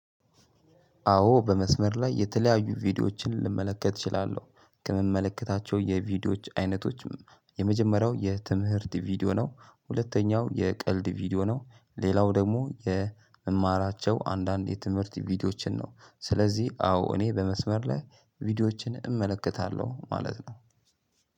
አዎ በመስመር ላይ የተለያዩ ቪዲዮዎችን ልመለከት እችላለሁ ከምመለከታቸው የቪዲዮዎች አይነቶችም የመጀመሪያው የትምህርት ቪዲዮ ነው ሁለተኛው የቀልድ ቪዲዮ ነው ሌላው ደግሞ የምማራቸው አንዳንድ የትምህርት ቪዲዮዎችን ነው። ስለዚህ አዎ እኔ በመስመር ላይ ቪዲዮዎችን እመለከታለሁ ማለት ነው።